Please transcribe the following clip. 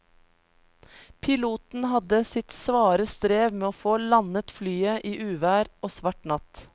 Piloten hadde sitt svare strev med å få landet flyet i uvær og svart natt.